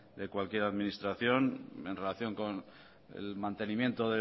de cualquier administración en relación con el mantenimiento